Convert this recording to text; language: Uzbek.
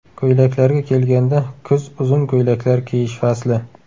Ko‘ylaklarga kelganda, kuz uzun ko‘ylaklar kiyish fasli.